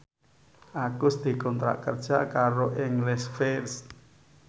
Agus dikontrak kerja karo English First